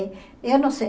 Eu não sei.